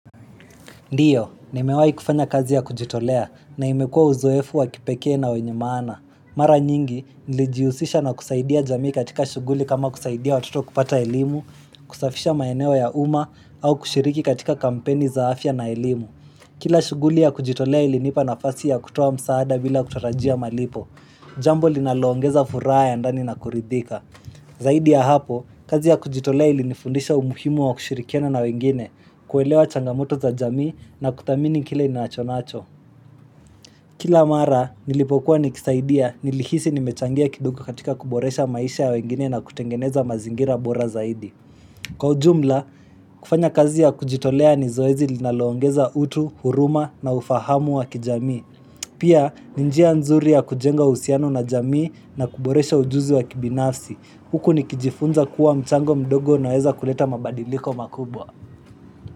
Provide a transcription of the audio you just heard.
Ndiyo, nimewahi kufanya kazi ya kujitolea na imekua uzoefu wakipekee na wenye maana. Mara nyingi, nilijihusisha na kusaidia jamii katika shughuli kama kusaidia watoto kupata elimu, kusafisha maeneo ya umma, au kushiriki katika kampeni za afya na elimu. Kila shughuli ya kujitolea ilinipa nafasi ya kutoa msaada bila kutarajia malipo. Jambo linalo ongeza furaha ya ndani na kuridhika. Zaidi ya hapo, kazi ya kujitolea ili nifundisha umuhimu wa kushirikiana na wengine, kuelewa changamoto za jamii na kudhamini kile ninachonacho. Kila mara, nilipokuwa nikisaidia nilihisi ni mechangia kidogo katika kuboresha maisha ya wengine na kutengeneza mazingira bora zaidi. Kwa ujumla, kufanya kazi ya kujitolea ni zoezi linaloongeza utu, huruma na ufahamu wa kijamii. Pia ni njia nzuri ya kujenga uhusiano na jamii na kuboresha ujuzi wa kibinasi. Huku nikijifunza kuwa mchango mdogo unaweza kuleta mabadiliko makubwa.